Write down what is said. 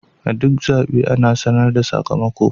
A duk zaɓe ana sanar da sakamako.